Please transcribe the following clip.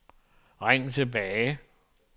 ring tilbage